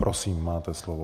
Prosím, máte slovo.